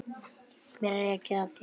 Mér er ekið af þér.